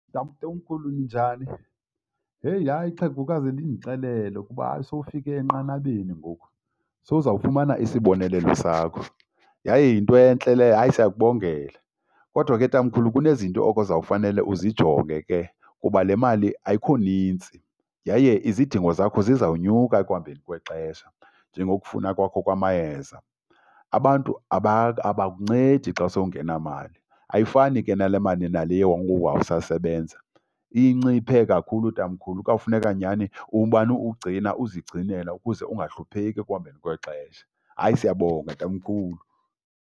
Tatomkhulu, ninjani? Heyi, hayi ixhegokazi lindixelele kuba sowufike enqanabeni ngoku. Sowuzawufumana isibonelelo sakho yaye yinto entle leyo. Hayi siyakubongela. Kodwa ke tamkhulu kunezinto okuzawufanele uzijonge ke kuba le mali ayikho nintsi yaye izidingo zakho zizawunyuka ekuhambeni kwexesha, njengokufuna kwakho kwamayeza. Abantu abakuncedi xa sowungenamali. Ayifani ke nale mali naleya wawusasebenza, inciphe kakhulu tamkhulu. Kuyawufuneka nyhani umane ugcina uzigcinela ukuze ungahlupheka ekuhambeni kwexesha. Hayi siyabonga, tamkhulu.